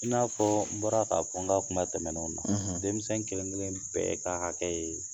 I n'a fɔ n bɔra ka fɔ n ka kun tɛmɛnw na; ; Denmisɛn kelen kelen bɛɛ ka hakɛ ye